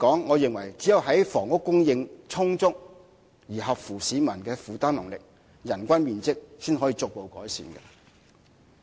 我認為最終只有在房屋供應充足和合乎市民負擔能力的情況下，人均面積才可逐步得到改善。